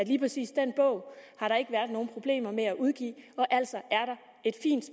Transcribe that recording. lige præcis den bog har der ikke været nogen problemer med at udgive og altså